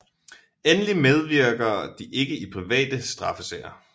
Endelig medvirker de ikke i private straffesager